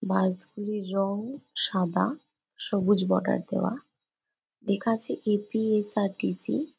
বাস গুলির রঙ সাদা সবুজ বর্ডার দেওয়া লেখা আছে A. P. S. R. T. C..